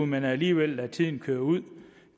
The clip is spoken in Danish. men alligevel lader tiden køre ud